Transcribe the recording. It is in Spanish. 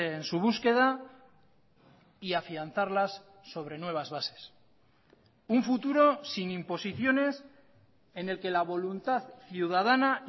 en su búsqueda y afianzarlas sobre nuevas bases un futuro sin imposiciones en el que la voluntad ciudadana